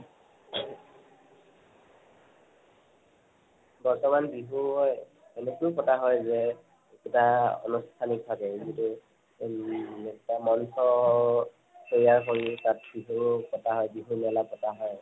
বৰ্তামান বিহু এনেকৈও পতা হয় যে এটা অনুষ্ঠানিক ভাবে যিটো উম মঞ্চ অ তৈয়াৰ কৰি তাত বিহু পতা হয়। বিহু মেলা পতা হয়